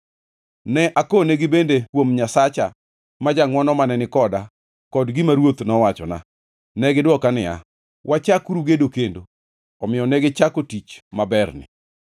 Ne akonegi bende kuom Nyasacha ma jangʼwono mane ni koda kod gima ruoth nowachona. Ne gidwoka niya, “Wachakuru gedo kendo.” Omiyo negichako tich maberni.